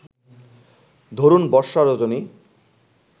ধরুণ বর্ষা রজনী